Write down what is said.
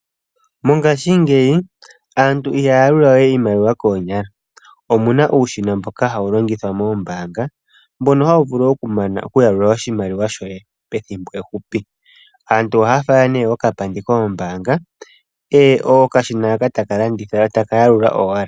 Mongashingeyi aantu ihaya yalula we iimaliwa koonyala, omuna uushina mboka hawu longithwa moombanga, mbono hawu vulu okumana oku yalula oshimaliwa shoye pethimbo efupi. Aantu ohaya fala nee okapandi koombanga ko okashina haka taka yalula owala.